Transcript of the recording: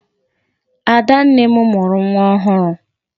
Adanne m mụrụ nwa ọhụrụ.